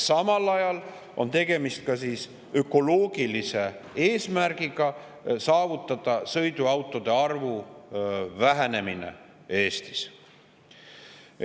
Samal ajal on tegemist ökoloogilise eesmärgiga saavutada sõiduautode arvu vähenemine Eestis.